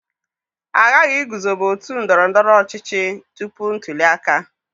A ghaghị iguzobe otu ndọrọ ndọrọ ọchịchị tupu ntuli aka.